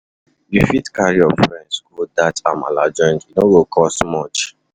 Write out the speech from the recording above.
You fit carry your friends go dat amala joint; e no go cost much.